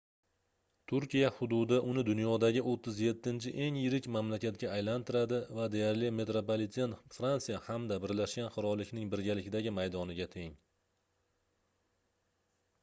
turkiya hududi uni dunyodagi 37-eng yirik mamlakatga aylantiradi va deyarli metropliten fransiya hamda birlashgan qirollikning birgalikdagi maydoniga teng